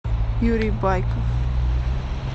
юрий байков